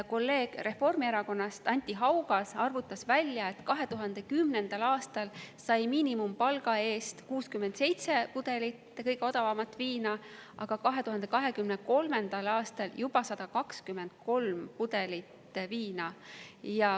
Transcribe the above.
Kolleeg Reformierakonnast, Anti Haugas, arvutas välja, et 2010. aastal sai miinimumpalga eest 67 pudelit kõige odavamat viina, aga 2023. aastal juba 123 pudelit.